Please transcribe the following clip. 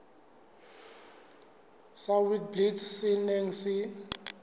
sa witblits se neng se